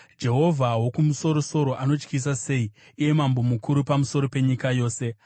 Jehovha Wokumusoro-soro anotyisa sei, iye Mambo mukuru pamusoro penyika yose!